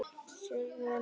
Drekka prestar mikið kók?